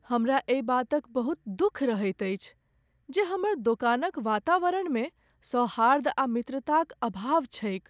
हमरा एहि बातक बहुत दुख रहैत अछि जे हमर दोकानक वातावरणमे सौहार्द आ मित्रताक अभाव छैक।